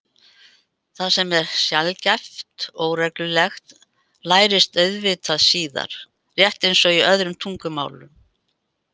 Það sem er sjaldgæft og óreglulegt lærist auðvitað síðar, rétt eins og í öðrum tungumálum.